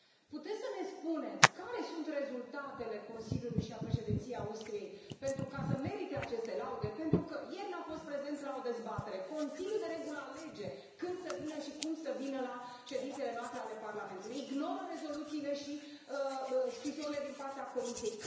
Puteți să ne spuneți care sunt rezultatele Consiliului și ale Președinției Austriei ca să merite aceste laude? Pentru că ieri n a fost prezent la o dezbatere, Consiliul, de regulă, alege când să vină și cum să vină la ședințele noastre, ale Parlamentului, ignoră rezoluțiile și scrisorile din partea Comisiei.